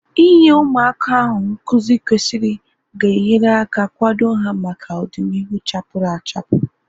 Inye ụmụaka ahu nkụzi kwesịrị ga enyere aka kwado ha maka ọdịnihu chapuru achapu